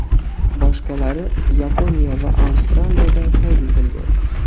Boshqalari Yaponiya va Avstraliyada qayd etilgan.